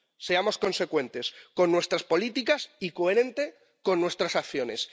Seamos consecuentes con nuestras políticas y coherentes con nuestras acciones.